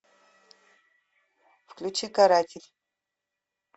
включи каратель